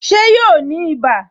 Ṣé yóò ní ibà